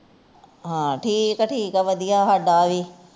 ਹਾਂ ਠੀਕ ਠੀਕ ਆ ਵੜਿਆ ਸਾਡਾ ਵੀ